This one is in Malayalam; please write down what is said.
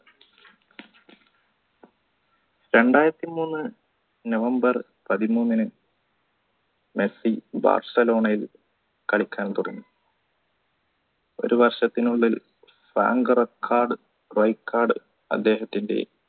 രണ്ടായിരത്തി മൂന്ന് november പതിമൂന്നിന് മെസ്സി ബാഴ്സലോണയിൽ കളിക്കാൻ തുടങ്ങി ഒരു വർഷത്തിനുള്ളിൽ rank record അദ്ദേഹത്തിൻറെ